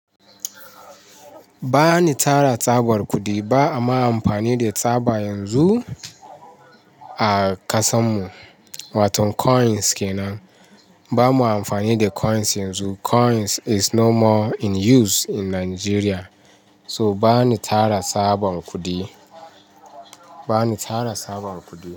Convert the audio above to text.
Bani tara tabar kudi ba, amma amfani da tsaba yanzu a ƙasanmu watan coins kenan. Ba mu amfani da coins yanzu. Coins is no more in use in Nigeria. So bani tara saban kudi. Bani tara sabon kudi.